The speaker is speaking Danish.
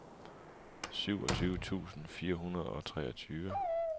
syvogtyve tusind fire hundrede og treogtyve